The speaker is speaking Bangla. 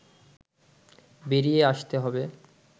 বেরিয়ে আসতে হবে